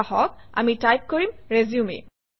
ধৰা হওক আমি টাইপ কৰিম - RESUME